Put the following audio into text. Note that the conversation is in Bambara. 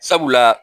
Sabula